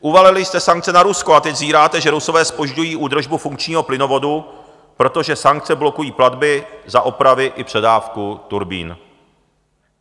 Uvalili jste sankce na Rusko a teď zíráte, že Rusové zpožďují údržbu funkčního plynovodu, protože sankce blokují platby za opravy i předávku turbín.